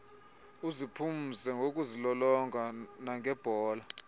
uziphumze ngokuzilolonga nangebhola